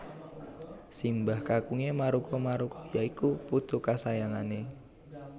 Simbah kakunge Maruko Maruko ya iku putu kasayangane